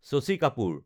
Shashi Kapoor